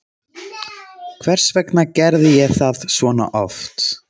Hvers vegna gerði ég það svona oft?